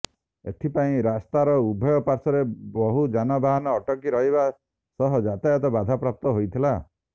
ଏଥିପାଇଁ ରାସ୍ତାର ଉଭୟ ପାଶ୍ୱରେ ବହୁ ଯାନବାହାନ ଅଟକି ରହିବା ସହ ଯାତାୟତ ବାଧାପ୍ରାପ୍ତ ହୋଇଥିଲା